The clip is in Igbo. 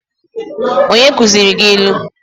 Who taught you how to use proverbs?